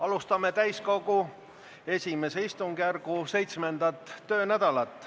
Alustame täiskogu I istungjärgu 7. töönädalat.